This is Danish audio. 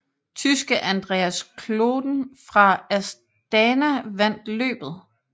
Tyske Andreas Klöden fra Astana vandt løbet